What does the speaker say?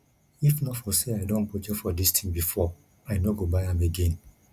if not for say i don budget for dis thing before i no go buy am again